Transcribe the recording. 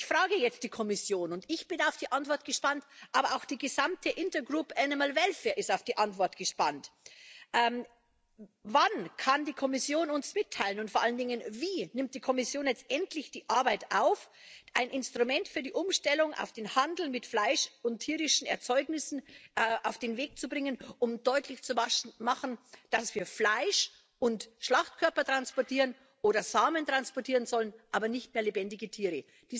Ich frage jetzt die Kommission, und ich bin auf die Antwort gespannt, aber auch die gesamte Intergroup ist auf die Antwort gespannt Wann kann die Kommission uns mitteilen und vor allen Dingen wie nimmt die Kommission jetzt endlich die Arbeit auf, ein Instrument für die Umstellung auf den Handel mit Fleisch und tierischen Erzeugnissen auf den Weg zu bringen, um deutlich zu machen, dass wir Fleisch und Schlachtkörper transportieren oder Samen transportieren sollen, aber nicht mehr lebendige Tiere?